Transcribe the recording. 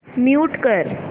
mute कर